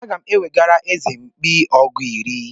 Aga m ewegara eze mkpi ọgụ iri.